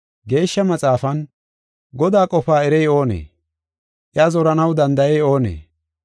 Geeshsha Maxaafan, “Godaa qofaa erey oonee? Iya zoranaw danda7ey oonee?